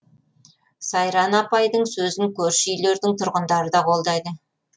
сайран апайдың сөзін көрші үйлердің тұрғындары да қолдайды